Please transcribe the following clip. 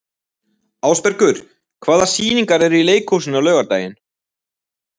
Ásbergur, hvaða sýningar eru í leikhúsinu á laugardaginn?